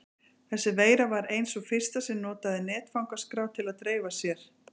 Þessi veira var ein sú fyrsta sem notaði netfangaskrá til að dreifa sér.